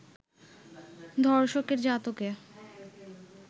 ধর্ষকের জাতকে